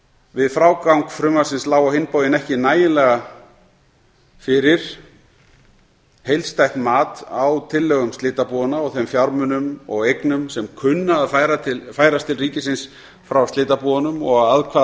við frágang frumvarpsins lá á hinn bóginn ekki fyrir nægilega heildstætt mat á tillögum slitabúanna og þeim fjármunum og eignum sem kunna að færast til ríkisins frá slitabúunum og að hvaða